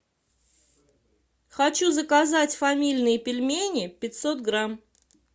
хочу заказать фамильные пельмени пятьсот грамм